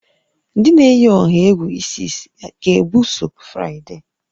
Ndị na-eyi ọha egwu Isis ga-ebuso Fraịde?